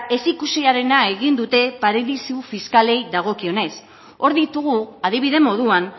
ezikusiarena egin dute paradisu fiskalei dagokionez hor ditugu adibide moduan